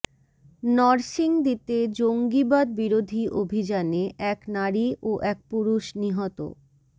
নরসিংদীতে জঙ্গিবাদ বিরোধী অভিযানে এক নারী ও এক পুরুষ নিহত